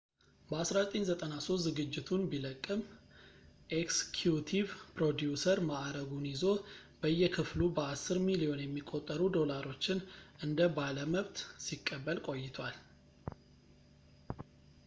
በ1993 ዝግጅቱን ቢለቅም ኤክስኪዩቲቭ ፕሮዲውሰር ማዕረጉን ይዞ በየክፍሉ በአስር ሚሊዮን የሚቆጠሩ ዶላሮችን እንደ ባለመብት ሲቀበል ቆይቷል